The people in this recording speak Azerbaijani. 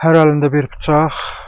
Hər əlində bir bıçaq.